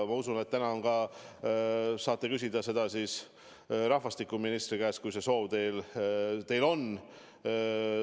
Ma usun, et te saate seda küsida rahvastikuministri käest, kui teil see soov on.